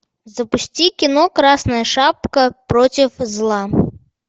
запусти кино красная шапка против зла